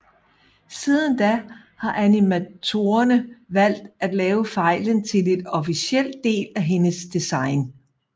Siden da har animatorerne valgt at lave fejlen til et officelt del af hendes design